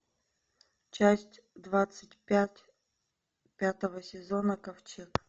часть двадцать пять пятого сезона ковчег